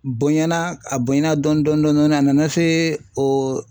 Bonyana a bonyana dɔnni dɔɔni dɔɔni dɔɔni a nana se o